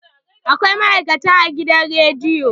Akwai ma'aikata a gidan rediyo.